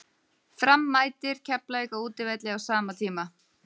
Fram mætir Keflavík á útivelli á sama tíma.